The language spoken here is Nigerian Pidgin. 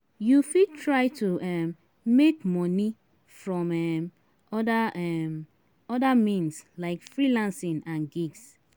You fit try to um make money from um other um other means like freelancing and gigs